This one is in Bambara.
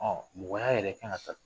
Ɔ mɔgɔya yɛrɛ kan ka taa